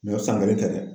o san kelen tɛ dɛ